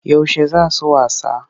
Yaushe za su wasa?